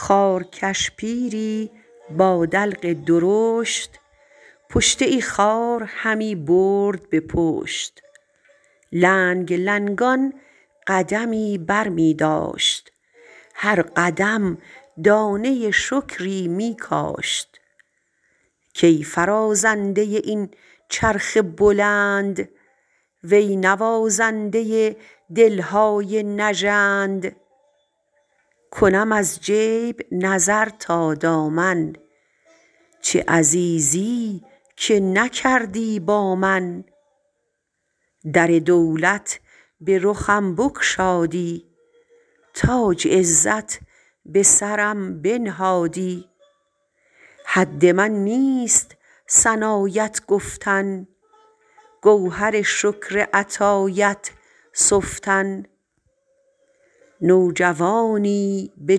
خارکش پیری با دلق درشت پشته خار همی برد به پشت لنگ لنگان قدمی برمی داشت هر قدم دانه شکری می کاشت کای فرازنده این چرخ بلند وی نوازنده دلهای نژند کنم از جیب نظر تا دامن چه عزیزی که نکردی با من در دولت به رخم بگشادی تاج عزت به سرم بنهادی حد من نیست ثنایت گفتن گوهر شکر عطایت سفتن نوجوانی به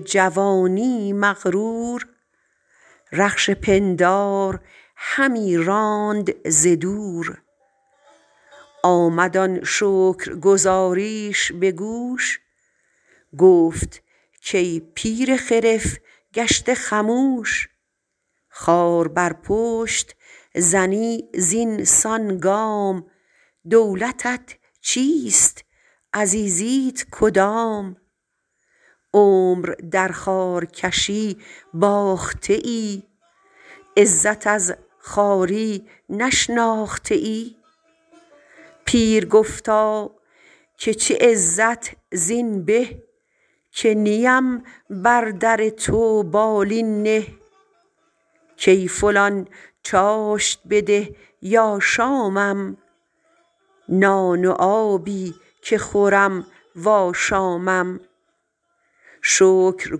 جوانی مغرور رخش پندار همی راند ز دور آمد آن شکرگزاریش به گوش گفت کای پیر خرف گشته خموش خار بر پشت زنی زینسان گام دولتت چیست عزیزیت کدام عمر در خارکشی باخته ای عزت از خواری نشناخته ای پیر گفتا که چه عزت زین به که نیم بر در تو بالین نه کای فلان چاشت بده یا شامم نان و آبی که خورم و آشامم شکر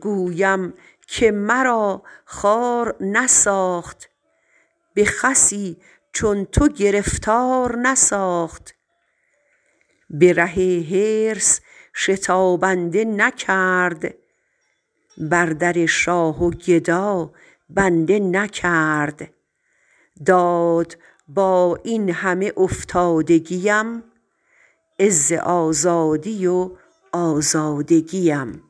گویم که مرا خوار نساخت به خسی چون تو گرفتار نساخت به ره حرص شتابنده نکرد به در شاه و گدا بنده نکرد داد با این همه افتادگیم عز آزادی و آزادگیم